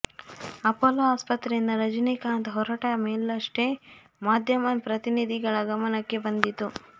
Apollo ಆಸ್ಪತ್ರೆಯಿಂದ ರಜನಿಕಾಂತ್ ಹೊರಟ ಮೇಲಷ್ಟೇ ಮಾಧ್ಯಮ ಪ್ರತಿನಿಧಿಗಳ ಗಮನಕ್ಕೆ ಬಂದಿತು